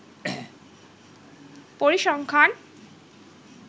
পরিসংখ্যান